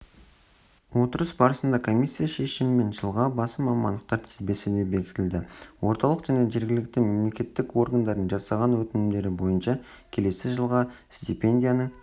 отырыс барысында комиссия шешімімен жылға басым мамандықтар тізбесі де бекітілді орталық және жергілікті мемлекеттік органдардың жасаған өтінімдері бойынша келесі жылға стипендияның